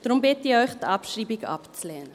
Darum bitte ich Sie, die Abschreibung abzulehnen.